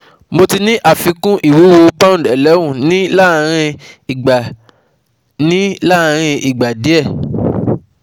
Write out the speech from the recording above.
Mo ti ní àfikún ìwúwo pound eleven ní láàárn igba ní lanrin igba die